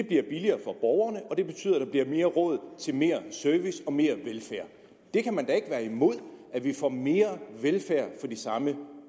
bliver billigere for borgerne og det betyder at der bliver mere råd til mere service og mere velfærd det kan man ikke være imod at vi får mere velfærd for de samme